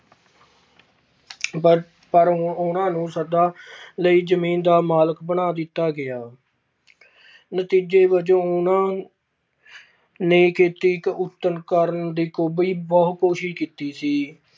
ਪਰ, ਪਰ ਉਹਨਾਂ ਨੂੰ ਸਦਾ ਲਈ ਜ਼ਮੀਨ ਦਾ ਮਾਲਕ ਬਣਾ ਦਿੱਤਾ ਗਿਆ ਨਤੀਜੇ ਵਜੋਂ ਉਹਨਾਂ ਨੇ ਖੇਤੀ ਕਰਨ ਬਹੁਤ ਕੋਸ਼ਿਸ਼ ਕੀਤੀ ਸੀ।